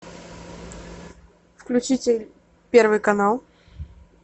включите первый канал